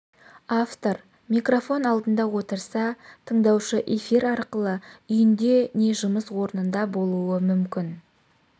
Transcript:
автор микрофон алдында отырса тындаушы эфир арқылы үйінде не жұмыс орнында болуы мүмкін